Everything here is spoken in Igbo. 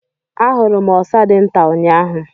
I saw a very small squirrel yesterday.